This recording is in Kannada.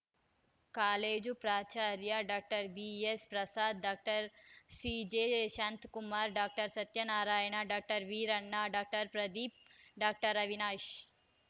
ಕಾಲೇಜು ಪ್ರಾಚಾರ್ಯ doctor B S Prasad doctor CJ Shanthakumara doctor Satyanarayana doctor Veeranna doctor Pradeep doctor Avinash